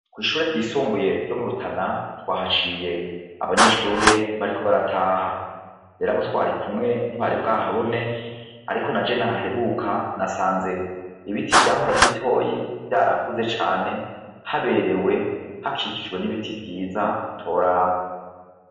Kw'ishure ryisumbuye ryo mu Rutana twahaciye abanyeshure bariko barataha, Rero abo twari kumwe ntibari bwahabone ariko na jewe nahaheruka nasanze ibiti vyahora ari bitoyi vyarakuze cane haberewe, hakikijwe n'ibiti vyiza utoraba.